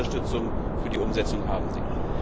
Unsere Unterstützung für die Umsetzung haben Sie.